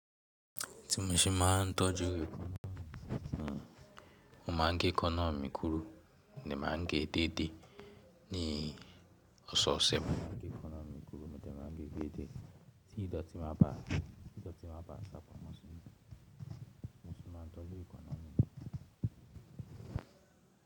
Ti mo ṣe máa ń tọ́jú ekanná mi, mo máa ń gé káná mi kúrú ní máa ń gé è dèèdè ní ọ̀ṣọ̀ọ̀ṣẹ̀ Tí ìdọ̀tí máa ba à sábà mú sí mi, mo sì máa ń tọ́jú ìkóná mi.